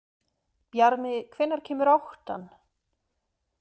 Bjarmi, hvenær kemur áttan?